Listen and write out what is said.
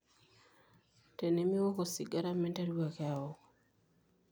tenemiok osigara minteru ake aok